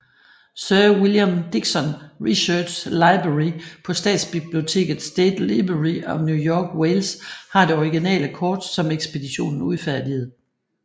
Sir William Dixson Research Library på statsbiblioteket State Library of New South Wales har det originale kort som ekspeditionen udfærdigede